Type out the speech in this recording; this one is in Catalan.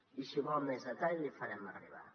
i si en vol més detall l’hi farem arribar